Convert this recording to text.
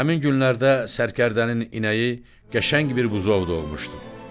Həmin günlərdə sərkərdənin inəyi qəşəng bir buzov doğmuşdu.